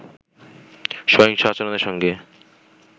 সহিংস আচরণের সঙ্গে